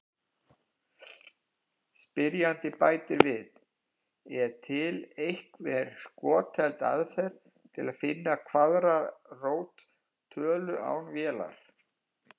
Spyrjandi bætir við: Er til einhver skotheld aðferð til að finna kvaðratrót tölu án vélar?